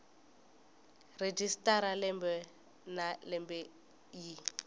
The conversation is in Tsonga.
registrar lembe na lembe yi